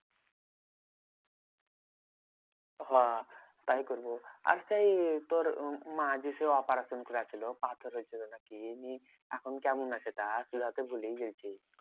হ্যাঁ তাই করবো আর সেই তোর উম মার্ যে সেই operation করেছিল পাথরের জন্য না কি? নিয়ে এখন কেমন আছে? তা তুই হয়তো ভুলেই গেছিস।